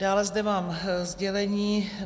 Dále zde mám sdělení.